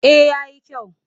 Eh ya yi kyau